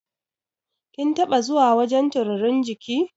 Kin taɓa zuwa wajan turirin jiki?